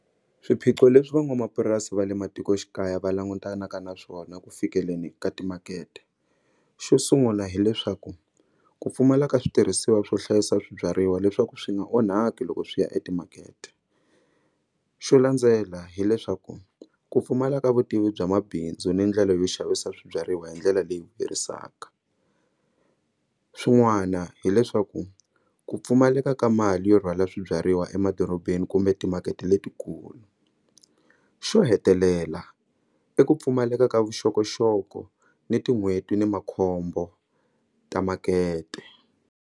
Swiphiqo leswi van'wamapurasi va le matikoxikaya va langutanaka na swona ku fikeleni ka timakete xo sungula hileswaku ku pfumala ka switirhisiwa swo hlayisa swibyariwa leswaku swi nga onhaki loko swi ya etimakete xo landzela hileswaku ku pfumala ka vutivi bya mabindzu ni ndlela yo xavisa swibyariwa hi ndlela leyi vuyerisaka swin'wana hileswaku ku pfumaleka ka mali yo rhwala swibyariwa emadorobeni kumbe timakete letikulu xo hetelela i ku pfumaleka ka vuxokoxoko ni tin'hweti ni makhombo ta makete.